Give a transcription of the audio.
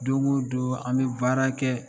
Don ko don an bɛ baara kɛ